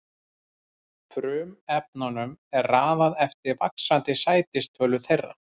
Frumefnunum er raðað eftir vaxandi sætistölu þeirra.